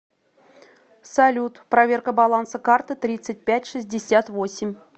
салют проверка баланса карты тридцать пять шестьдесят восемь